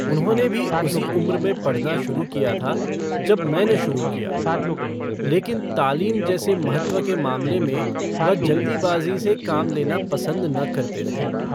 उन्होंने भी उसी उम्र में पढ़ना शुरू किया था जब मैंने शुरू किया, लेकिन तालीम जैसे महत्व के मामले में वह जल्दीबाज़ी से काम लेना पसन्द न करते थे।